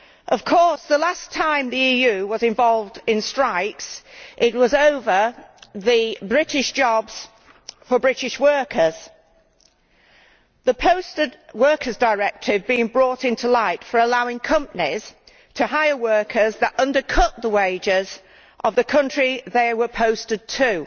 Of course, the last time the EU was involved in strikes, it was over the British jobs for British workers, the Posted Workers Directive being brought into light for allowing companies to hire workers that undercut the wages of the country they were posted to.